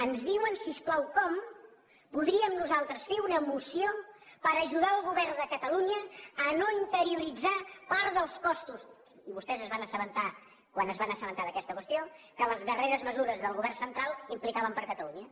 ens diuen si us plau com podríem nosaltres fer una moció per ajudar el govern de catalunya a no interioritzar part dels costos i vostès es van assabentar quan es van assabentar d’aquesta qüestió que les darreres mesures del govern central implicaven catalunya